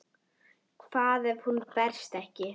Hvað ef hún berst ekki?